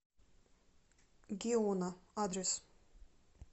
геона адрес